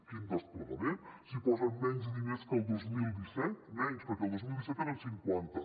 quin desplegament si hi posen menys diners que el dos mil disset menys perquè el dos mil disset eren cinquanta